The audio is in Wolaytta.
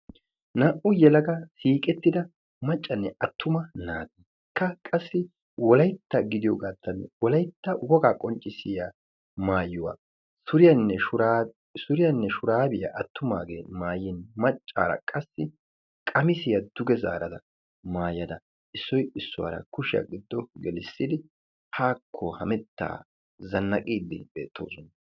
Naa'u yelaga shiqqettida maccanne attuma naati etikka qassi wolaytta gidiyogato wolaytta qonccissiyaa maayuwaa suriyanne shurabiyaa attumagetti maayin maccaara qassi qamisiyaa duge maayada issoy issuwaa qoommidi kushiyaa giddon gelissidi zannaaqqidi eqqidosona.